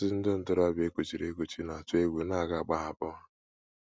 Ọtụtụ ndị ntorobịa e kuchiri ekuchi na - atụ egwu na a ga - agbahapụ ha.